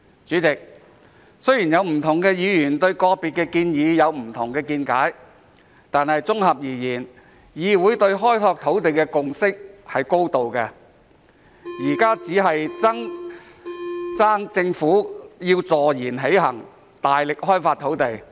主席，雖然有不同的議員對個別建議有不同的見解，但綜合而言，議會對開拓土地的共識是高度的，現在只欠政府坐言起行，大力開發土地。